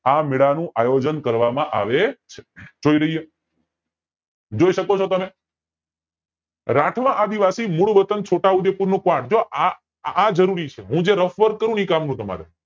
આ મેળા નું આયોજન કરવામાં આવે છે જોઈ શકો છો તમે રાઠવા આદિવાસી મૂળ વતન છોટા ઉદયપુર નું પણ જો આજ આજ જરૂરી છે હું જે ruff work કરું એજ કામનું છે